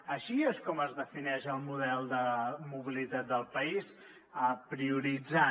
així és com es defineix el model de mobilitat del país prioritzant